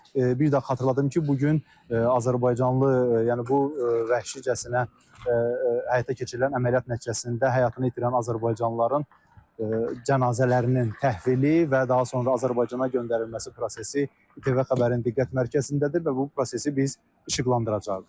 Bir də xatırladım ki, bu gün azərbaycanlı yəni bu vəhşicəsinə həyata keçirilən əməliyyat nəticəsində həyatını itirən azərbaycanlıların cənazələrinin təhvili və daha sonra Azərbaycana göndərilməsi prosesi İTV Xəbərin diqqət mərkəzindədir və bu prosesi biz işıqlandıracağıq.